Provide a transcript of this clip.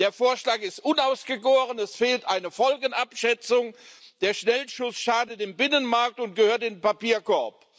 Der Vorschlag ist unausgegoren, es fehlt eine Folgenabschätzung. Der Schnellschuss schadet dem Binnenmarkt und gehört in den Papierkorb.